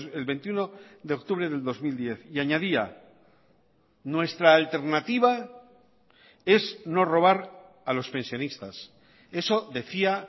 el veintiuno de octubre del dos mil diez y añadía nuestra alternativa es no robar a los pensionistas eso decía